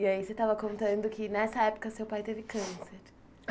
E aí você estava contando que nessa época seu pai teve câncer.